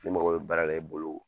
Ni n mako baara la i bolo